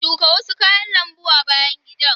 Shuka wasu kayan lambu a bayan gidan.